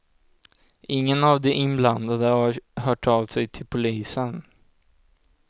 Ingen av de inblandade har hört av sig till polisen.